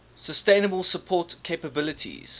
sustainable support capabilities